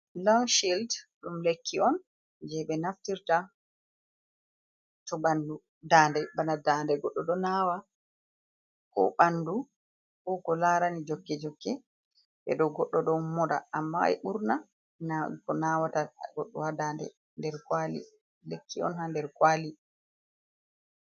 Long shild ɗum lekki on, je ɓe naftirta to bandu, bana ndande goddo ɗo nawa, ko bandu, koko larani jokke jokke, ɓe ɗo goddo ɗo moda, amma e ɓurna ko nawata goɗɗo ha ndande. Lekki on ha nder kwali.